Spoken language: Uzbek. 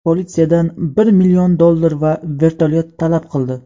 politsiyadan bir million dollar va vertolyot talab qildi.